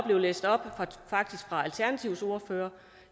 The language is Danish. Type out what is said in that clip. blev læst op af alternativets ordfører